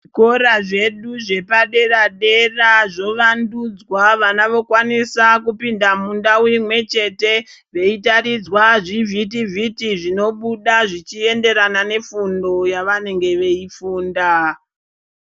Zvikora zvedu zvepadera dera zvovandudzwa. Vana vokwanisa kupinda mundau imwechete veitaridzwa zvivhitivhiti zvinobuda zvechienderana nefundo yavanenge veifunda.